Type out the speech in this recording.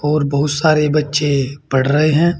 और बहुत सारे बच्चे पढ़ रहे हैं।